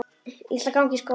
Ég ætla að ganga í skóla.